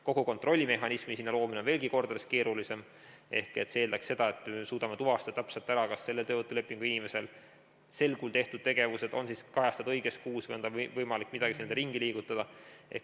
Kogu kontrollimehhanismi loomine on mitu korda keerulisem, see eeldaks seda, et me suudame tuvastada täpselt ära, kas selle töövõtulepinguga inimese sel kuul tehtud tegevused on kajastatud õiges kuus või on tal võimalik midagi seal ringi liigutada.